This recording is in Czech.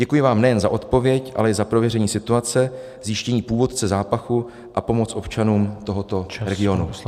Děkuji vám nejen za odpověď, ale i za prověření situace, zjištění původce zápachu a pomoc občanům tohoto regionu.